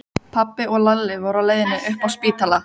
Pabbi og Lalli voru á leiðinni upp á spítala.